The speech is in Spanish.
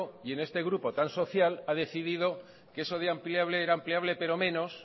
y en este grupo tan social ha decidido que eso de ampliable era ampliable